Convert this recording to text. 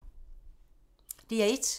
DR1